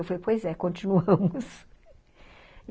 Eu falei, '' pois é, continuamos.''